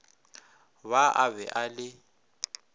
ba a be a le